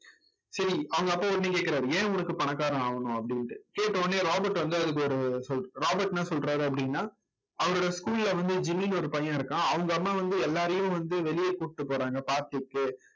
சரி அவங்க அப்பா உடனே கேக்கறார் ஏன் உனக்கு பணக்காரன் ஆகணும் அப்படின்னுட்டு கேட்ட உடனே ராபர்ட் வந்து அவருக்கு ஒரு ராபர்ட் என்ன சொல்றாரு அப்படின்னா அவருடைய school ல வந்து ஜிமின்னு ஒரு பையன் இருக்கான் அவங்க அம்மா வந்து எல்லாரையும் வந்து வெளிய கூட்டிட்டு போறாங்க party க்கு